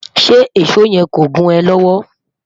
ṣé ìsọ yen kọ gùn é lówó?